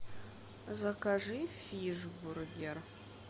закажи фишбургер